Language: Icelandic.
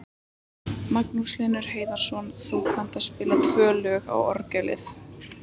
Magnús Hlynur Hreiðarsson: Þú kannt að spila tvö lög á orgelið?